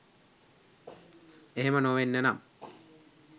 එහෙම නොවෙන්න නම්